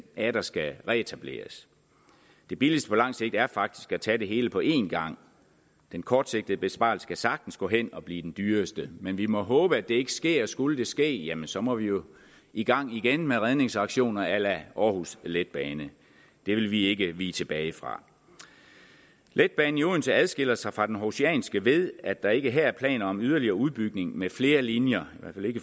atter skal reetableres det billigste på langt sigt er faktisk at tage det hele på en gang den kortsigtede besparelse kan sagtens gå hen og blive den dyreste men vi må håbe at det ikke sker skulle det ske jamen så må vi jo i gang igen med redningsaktioner a la aarhus letbane det vil vi ikke vige tilbage fra letbanen i odense adskiller sig fra den århusianske ved at der ikke her er planer om yderligere udbygning med flere linjer